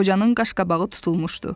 Qocanın qaşqabağı tutulmuşdu.